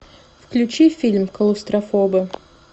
включи фильм клаустрофобы